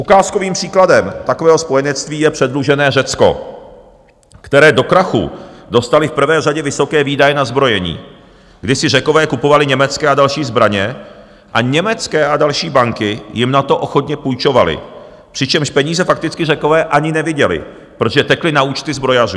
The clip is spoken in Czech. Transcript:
Ukázkovým příkladem takového spojenectví je předlužené Řecko, které do krachu dostaly v prvé řadě vysoké výdaje na zbrojení, kdy si Řekové kupovali německé a další zbraně a německé a další banky jim na to ochotně půjčovaly, přičemž peníze fakticky Řekové ani neviděli, protože tekly na účty zbrojařů.